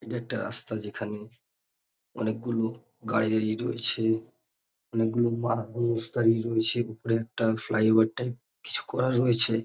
এটা একটা রাস্তা যেখানে অনেক গুলো গাড়ি দাঁড়িয়ে রয়েছে। অনেক গুলো মানুষ দাঁড়িয়ে রয়েছে। উপরে একটা ফ্লাই ওভার টাইপ কিছু করা রয়েছে।